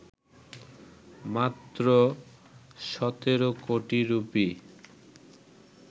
মাত্র ১৭ কোটি রুপি